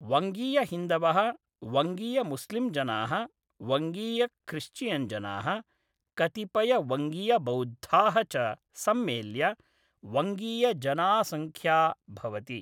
वङ्गीयहिन्दवः, वङ्गीयमुस्लिम्जनाः, वङ्गीयख्रिश्चियन्जनाः, कतिपयवङ्गीयबौद्धाः च सम्मेल्य वङ्गीयजनासङ्ख्या भवति।